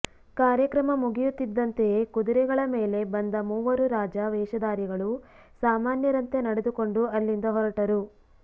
ಕಾರ್ಯಕ್ರಮ ಮುಗಿಯುತ್ತಿದ್ದಂತೆಯೇ ಕುದುರೆಗಳ ಮೇಲೆ ಬಂದ ಮೂವರು ರಾಜ ವೇಷಧಾರಿಗಳು ಸಾಮಾನ್ಯರಂತೆ ನಡೆದುಕೊಂಡು ಅಲ್ಲಿಂದ ಹೊರಟರು